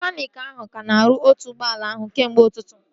Mekaniiki ahụ ka na-arụ otu ụgbọala ahụ kemgbe ụtụtụ